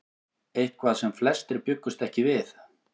Eitthvað sem flestir bjuggust ekki við